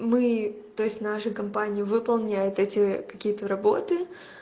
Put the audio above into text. мы то есть наша компания выполняет эти какие-то работы